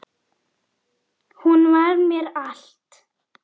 Hún var mér allt.